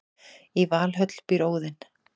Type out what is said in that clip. í valhöll býr óðinn